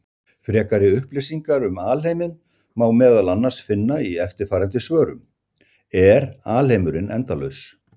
Frekari upplýsingar um alheiminn má meðal annars finna í eftirfarandi svörum: Er alheimurinn endalaus?